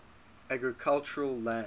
agricultural land